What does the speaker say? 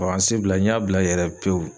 bila n y'a bila yɛrɛ pewu.